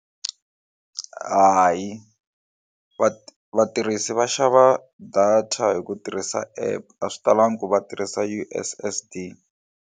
Hayi va vatirhisi va xava data hi ku tirhisa app a swi talangi ku va tirhisa U_S_S_D.